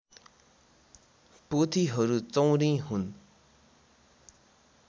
पोथीहरू चौँरी हुन्